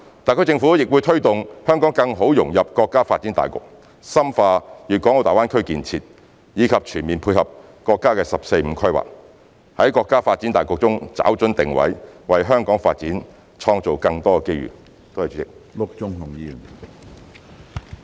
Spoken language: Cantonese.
特區政府亦會推動香港更好融入國家發展大局，深化粵港澳大灣區建設，以及全面配合國家的"十四五"規劃，在國家發展大局中找準定位，為香港發展創造更多機遇。